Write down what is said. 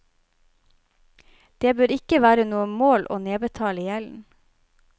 Det bør ikke være noe mål å nedbetale gjelden.